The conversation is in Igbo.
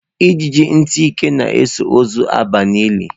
Ijiji ntị ike na-eso ozu aba n'ili